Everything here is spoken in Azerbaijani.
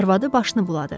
Arvadı başını buladı.